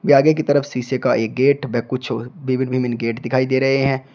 आगे की तरफ शीशे का एक गेट व कुछ विभिन्न विभिन्न गेट दिखाई दे रहे हैं।